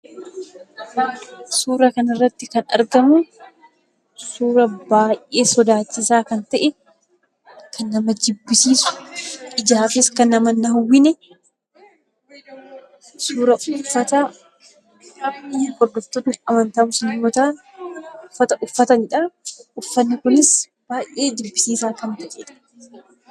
Suura kanarratti kan argamu, suura baay'ee sodaachisaa kan ta'e, kan nama jibbisiisu, ijaanis kan nama hin hawwine, suura uffata hordoftoonni amantaa Musliimaa uffatanidha. Uffanni kunis baay'ee jibbisiisaa kan ta’e dha.